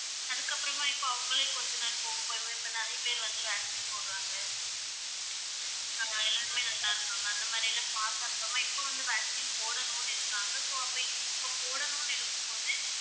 அதுக்கப்புறமா இப்ப அவங்களே கொஞ்ச நாள் போகப் போகப் போக இப்ப நிறைய பேர் வந்து vaccine போடுறாங்க. அஹ் எல்லாருமே நல்லா இருகாங்க அந்த மாதிரியெல்லாம் பார்த்த அப்புறமா இப்ப வந்து vaccine போடணும்ன்னு இருக்காங்க so அப்ப இப்ப போடணும்ன்னு இருக்கும்போது